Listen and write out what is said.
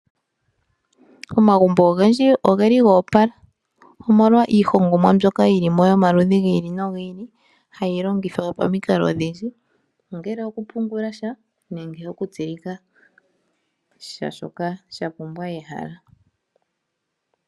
Omagumbo ogendji oge li go opala, omolwa iihongomwa mbyoka yi li mo yomaludhi gi ili nogi ili. Ohayi longithwa pamikalo odhindji, ongele okupungula sha, nenge okutsilika sha shoka sha pumbwa ehala.